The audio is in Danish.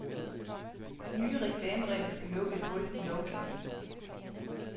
De nye reklameregler skal lukke et hul i lovgivningen.